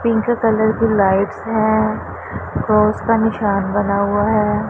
Pink colour की lights हैं cross का निशान बना हुआ हैं।